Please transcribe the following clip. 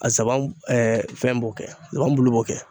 A nsaban fɛn b'o kɛ nsaban bulu b'o kɛ